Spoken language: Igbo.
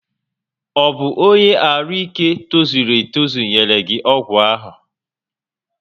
Ọ bụ ọnye arụ ike tozuru etozu nyere gị ọgwụ ahụ?